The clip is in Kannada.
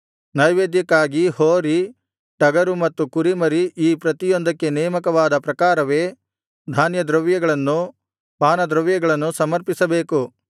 ನೈವೇದ್ಯಕ್ಕಾಗಿ ಹೋರಿ ಟಗರು ಮತ್ತು ಕುರಿಮರಿ ಈ ಪ್ರತಿಯೊಂದಕ್ಕೆ ನೇಮಕವಾದ ಪ್ರಕಾರವೇ ಧಾನ್ಯದ್ರವ್ಯಗಳನ್ನೂ ಪಾನದ್ರವ್ಯಗಳನ್ನೂ ಸಮರ್ಪಿಸಬೇಕು